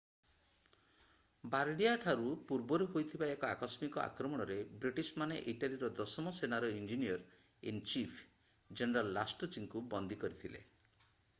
ବାର୍ଡିଆଠାରୁ ପୂର୍ବରେ ହୋଇଥିବା ଏକ ଆକସ୍ମିକ ଆକ୍ରମଣରେ ବ୍ରିଟିଶମାନେ ଇଟାଲୀର ଦଶମ ସେନାର ଇଞ୍ଜିନିୟର୍-ଇନ୍-ଚିଫ୍ ଜେନେରାଲ ଲାଷ୍ଟୁଚିଙ୍କୁ ବନ୍ଦୀ କରିଥିଲେ